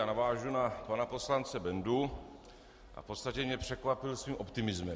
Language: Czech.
Já navážu na pana poslance Bendu a v podstatě mě překvapil svým optimismem.